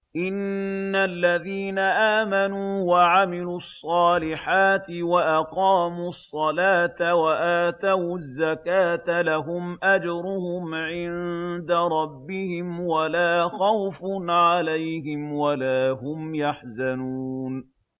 إِنَّ الَّذِينَ آمَنُوا وَعَمِلُوا الصَّالِحَاتِ وَأَقَامُوا الصَّلَاةَ وَآتَوُا الزَّكَاةَ لَهُمْ أَجْرُهُمْ عِندَ رَبِّهِمْ وَلَا خَوْفٌ عَلَيْهِمْ وَلَا هُمْ يَحْزَنُونَ